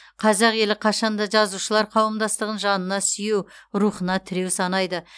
қазақ елі қашанда жазушылар қауымдастығын жанына сүйеу рухына тіреу санайды